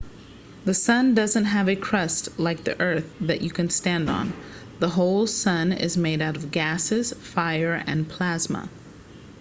the sun doesn't have a crust like the earth that you can stand on the whole sun is made out of gases fire and plasma